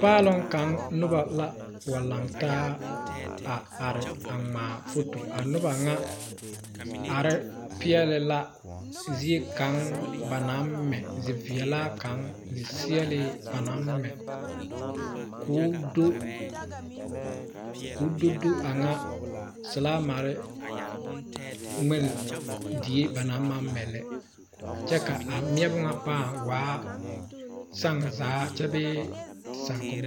Paaloŋ kaŋ noba la wa lantaa a are a ŋmaa foto a noba ŋa are peɛle la ziekaŋ ba naŋ mɛ ziveɛlaa kaŋa ziseɛlee ba naŋmɛ ko o do ko o do do kaŋa selaamare ŋmen die ba naŋ kaŋ mɛ lɛ kyɛ ka a meɛbo ŋa paa waa saŋa zaa bee saakommine